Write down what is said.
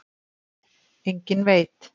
Enginn veit.